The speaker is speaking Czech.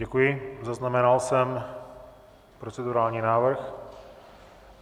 Děkuji, zaznamenal jsem procedurální návrh.